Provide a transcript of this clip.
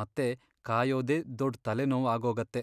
ಮತ್ತೆ ಕಾಯೋದೇ ದೊಡ್ ತಲೆನೋವ್ ಆಗೋಗತ್ತೆ.